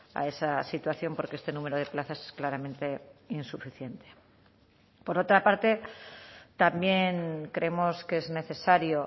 a esa situación porque este número de plazas es claramente insuficiente por otra parte también creemos que es necesario